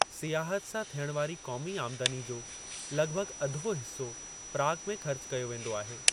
सियाहत सां थियणु वारी क़ौमी आमदनी जो लगि॒भगि॒ अधो हिस्सो प्राग में ख़र्च कयो वेंदो आहे।